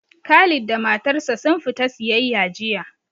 Khalid da matar sa sun fita siyayya jiya